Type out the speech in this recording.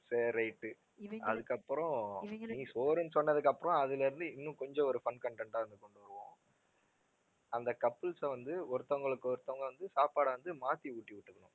சரி right உ அதுக்கப்புறம் நீ சோறுன்னு சொன்னதுக்கு அப்புறம் அதுல இருந்து இன்னும் கொஞ்சம் ஒரு fun content ஆ வந்து கொண்டு வருவோம் அந்த couples அ வந்து ஒருத்தவங்களுக்கு ஒருத்தவங்க வந்து சாப்பாடை வந்து மாத்தி ஊட்டி விட்டுக்கணும்